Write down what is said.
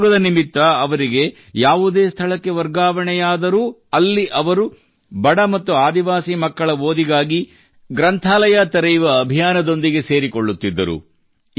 ಉದ್ಯೋಗದ ನಿಮಿತ್ತ ಅವರಿಗೆ ಯಾವುದೇ ಸ್ಥಳಕ್ಕೆ ವರ್ಗಾವಣೆಯಾದರೂ ಅಲ್ಲಿ ಅವರು ಬಡ ಮತ್ತು ಆದಿವಾಸಿ ಮಕ್ಕಳ ಓದಿಗಾಗಿ ಗ್ರಂಥಾಲಯ ತೆರೆಯುವ ಅಭಿಯಾನದೊಂದಿಗೆ ಸೇರಿಕೊಳ್ಳುತ್ತಿದ್ದರು